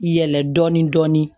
Yɛlɛ dɔɔnin dɔɔnin